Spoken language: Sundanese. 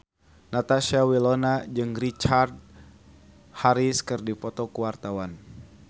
Natasha Wilona jeung Richard Harris keur dipoto ku wartawan